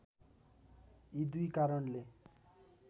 यी दुई कारणले